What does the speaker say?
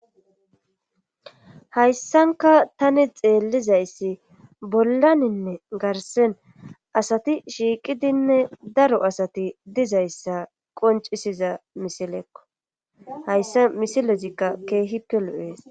hayssanka tani xeellizayssi bollaninne garsen asati shiiqidinne daro asati dizayssa qoncisiza misilekko hayssa misilezikka keehikkelu7ees